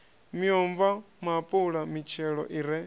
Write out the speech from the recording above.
miomva maapula mitshelo i re